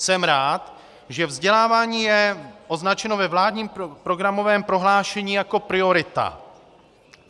Jsem rád, že vzdělávání je označeno ve vládním programovém prohlášení jako priorita.